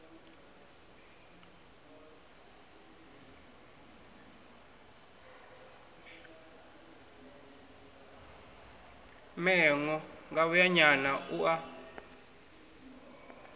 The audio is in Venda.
mee ṅo ngavhuyanyana u a